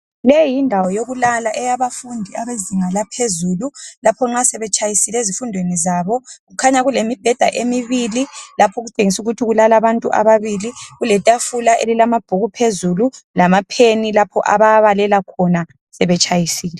Le yindawo yokulala eyabafundi abezinga laphezulu. Lapho nxa sebetshayisile ezifundweni zabo . Kukhanya kule mibheda emibili lapho okutshengisa ukuthi kulala abantu ababili. Kuletafula elilamabhuku phezulu lamapheni lapho ababalela khona sebetshayisile.